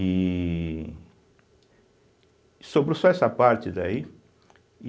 E... Sobrou só essa parte daí.